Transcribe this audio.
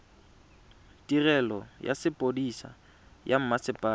tirelo ya sepodisi sa mmasepala